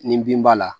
Nin bin b'a la